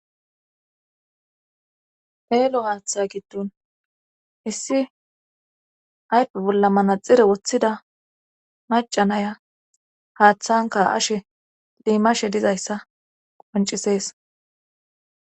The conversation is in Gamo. eelo haaththa giddun issi aype bolla manaxire woththida macanaya haaththanka ashe lemashe dizayssa qoncisees